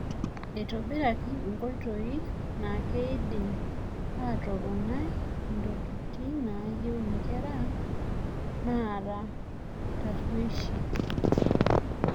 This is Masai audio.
Eitobiraki tenkoitoi naa keidimi atoponai intokitin naayeu inkera naara taruesh.